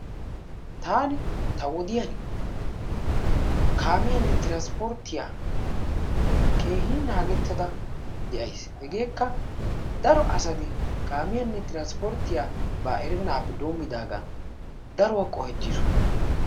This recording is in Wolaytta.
Taani ta wodiyaan kaamiyaanne tiraspporttiyaa keehin naagettada de'ays. Hegeekka daro asati kaamiyaanne tiraspportiyaaba erennagaappe denddigaan daruwaa qohettiisoona.